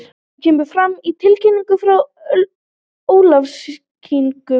Þetta kemur fram í tilkynningu frá Ólafsvíkingum.